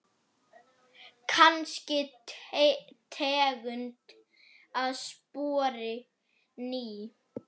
Kannski tegund af spori ný.